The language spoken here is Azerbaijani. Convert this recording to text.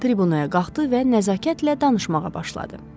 Tribunaya qalxdı və nəzakətlə danışmağa başladı.